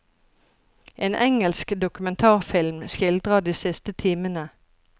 En engelsk dokumentarfilm skildrer de siste timene.